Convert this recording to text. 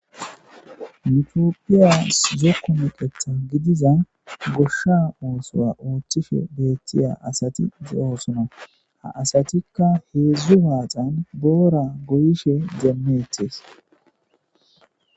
Mitiopphiyas zokku meqetha gidiza goshsha oosoya oochchife beeththiya asati zo'oosona ha asatikka heedzdzu baaxan boora goyishe gemmeetees.